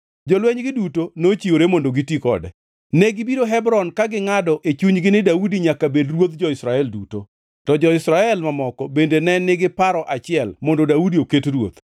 Jolwenygi duto nochiwore mondo giti kode. Negibiro Hebron ka gingʼado e chunygi ni Daudi nyaka bed ruodh jo-Israel duto. To jo-Israel mamoko bende ne nigi paro achiel mondo Daudi oket ruoth.